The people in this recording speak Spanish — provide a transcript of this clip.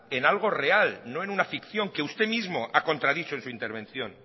en algo real no en una ficción que usted mismo ha contradicho en su intervención